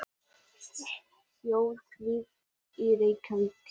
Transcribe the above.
Þjóðverja í Reykjavík.